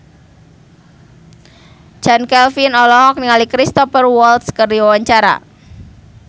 Chand Kelvin olohok ningali Cristhoper Waltz keur diwawancara